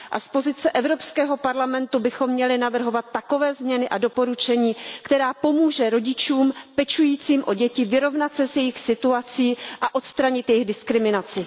Z pozice Evropského parlamentu bychom měli navrhovat takové změny a doporučení, které pomohou rodičům pečujícím o děti vyrovnat se s jejich situací a odstranit jejich diskriminaci.